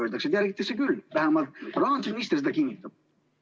Öeldakse, et järgitakse küll, vähemalt rahandusminister seda kinnitab.